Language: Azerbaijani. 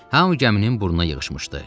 Hamı gəminin burnuna yığışmışdı.